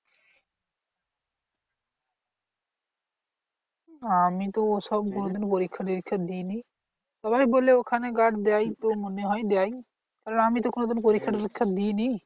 আমি তো ওসব কোনোদিনও পরীক্ষা টোরীক্ষা দিই নি। সবাই বলে ওখানে guard দেয় তো মনে হয় দেয়। তাহলে আমিতো কোনোদিন পরীক্ষা টোরীক্ষা দিই নি।